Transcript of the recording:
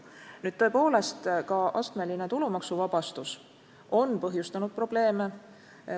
Nüüd, tõepoolest ka astmeline tulumaksuvabastus on põhjustanud probleeme.